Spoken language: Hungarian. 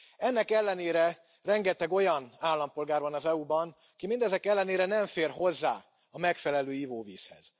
Ennek ellenére rengeteg olyan állampolgár van az EU ban, ki mindezek ellenére nem fér hozzá a megfelelő ivóvízhez.